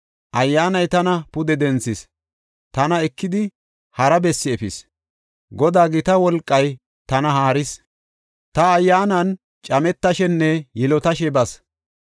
Ayyaanay tana pude denthis; tana ekidi hara bessi efis; Godaa gita wolqay tana haaris; ta ayyaanan cametashenne yilotashe bas.